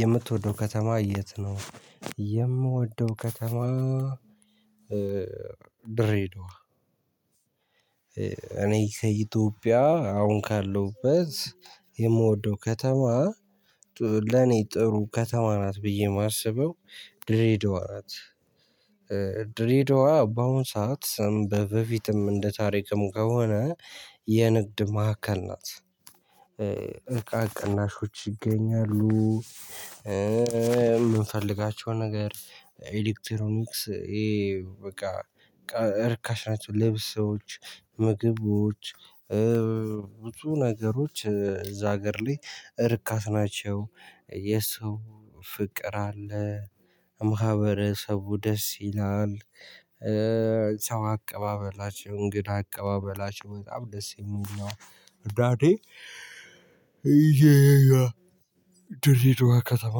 የምትወደው ከተማ የት ነው? የምወደው ከተማ ድሬዳዋ እኔ ከኢትዮጵያ አሁን ካለውበት የምወደው ከተማ። ለኔ ጥሩ ከተማ ናት ብዬ የማስበው ድሬዳዋ ናት። ድሬዳዋ በአሁን ሰዓት በፊትም እንደ ታሪክም ከሆነ የንግድ ማዕከል ናት። እቃ ቅናሾች ይገኛሉ። የምንፈልጋቸው ነገር ኤዲክትሮኒክስ ይሄ በቃ እርካሽ ናቸው። ልብሶች ምግቦች ብዙ ነገሮች እዛ እገር ላይ እርካሽ ናቸው የሰው ፍቅር አለ ማህበረሰቡ ደስ ይላል። ሰው አቀባበላቸው እንግዳ አቀባበላችው በጣም ደስ የሚል ነው። እና ድሬድዋ ከተማ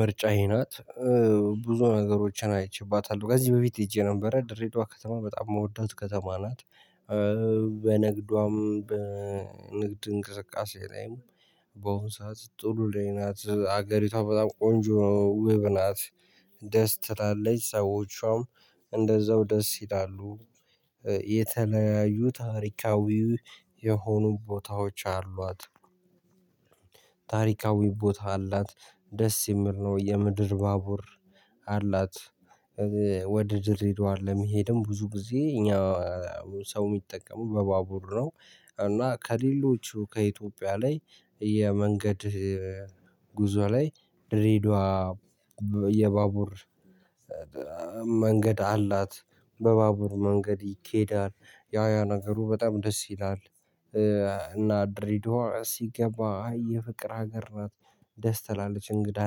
ምርጫዬ ናት። ብዙ ነገሮችን አይቼባታለሁ ከዚህ በፊት ሄጄ ነበር ድሬዳዋ ከተማ በጣም የምወዳት ከተማ ናት። በንግዷም በንግድ እንቅስቃሴ ላይም ባሁን ሰዓት ጥሩ ላይ ናት። አገሪቷ በጣም ቆንጆ ወብናት ደስ ትታለች። ሰዎቿም እንደዛው ደስ ይላሉ። ታሪካዊ የሆኑ ቦታዎች አሏት። ታሪካዊ ቦታ አላት ደስ ይምል ነው የምድር ባቡር አላት። ድሬድዋ ለመሄድም ብዙ ጊዜ እኛ ሰው የሚጠቀመው በባቡር ነው። እና ከሌሎቹ ከኢትዮጵያ ላይ የመንገድ ጉዞ ላይ ድሬድዋ የባቡር መንገድ አላት። በባቡር መንገድ ይኬዳል ያ ያ ነገሩ በጣም ደስ ይላል። እና ድሬድዋ ሲገባ የፍቅር ሀገር ናት። ደስ ትላለች እንግዳ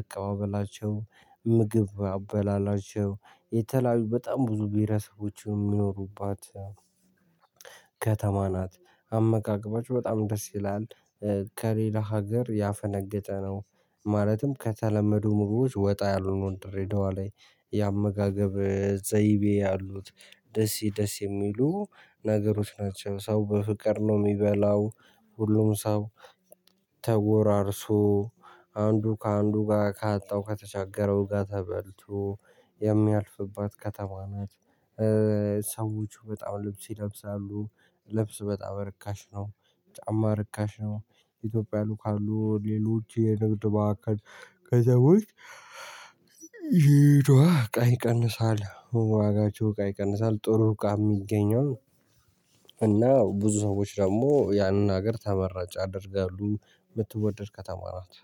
አቀባበላቸው ምግብ አበላላቸው የተለያዩ በጣም ብዙ ብሄረሰቦች የሚኖሩባት ከተማ ናት። አመጋገባቸው በጣም ደስ ይላል ከሌላ ሀገር ያፈነገጠ ነው። ማለትም ከተለመዱ ምግቦች ወጣ ያሉት ድሬዳዋ ላይ የአመጋገብ ዘይቤ ያሉት ደስ ይደስ የሚሉ ነገሮች ናቸው። ሰው በፍቅር ነው የሚበላው ሁሉም ሰው ተጎራርሶ አንዱ ከአንዱ ጋር ካጣው ከተቻገረው ጋር ተበልቶ የሚያልፍባት ከተማ ናት። ሰዎቹ በጣም ልብስ ይለብሳሉ። ልብስ በጣም ርካሽ ነው። ጫማ ርካሽ ነው። ኢትዮጵያ ሉካሉ ሌሎች የንግድ ማዕከል ከሰዎች ይቷ ቃይ ቀንሳል ዋጋችሁ ቃይ ቀንሳል ጥሩ ቃይ የሚገኘው እና ብዙ ሰዎች ደግሞ ያንን ሀገር ተመራጭ ያደርጋሉ። ምትወደድ ከተማ ናት